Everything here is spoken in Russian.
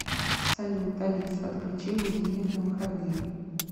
салют алиса отключи будильник на выходные